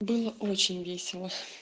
было очень весело